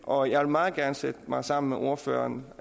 og jeg vil meget gerne sætte mig sammen med ordføreren